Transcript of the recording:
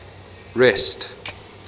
rest